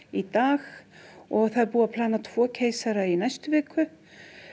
í dag og það er búið að plana tvo keisara í næstu viku